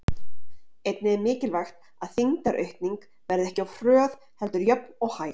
Einnig er mikilvægt að þyngdaraukning verði ekki of hröð heldur jöfn og hæg.